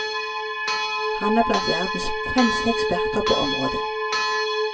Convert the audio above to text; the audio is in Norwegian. Han er blant verdens fremste eksperter på området.